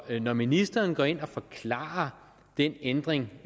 når ministeren går ind og forklarer den ændring